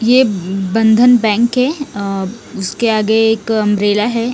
ये बंधन बैंक है उसके आगे एक अम्ब्रेला है--